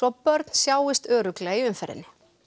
börn sjáist örugglega í umferðinni